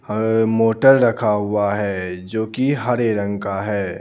हह motor रखा हुआ है जो कि हरे रंग का है.